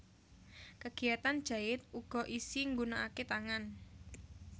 Kegiyatan jait uga isi nggunanake tangan